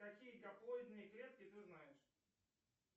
какие гаплоидные клетки ты знаешь